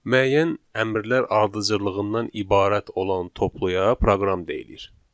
Müəyyən əmrlər ardıcıllığından ibarət olan topluya proqram deyilir.